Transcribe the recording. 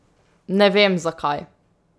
Ne vem, zakaj.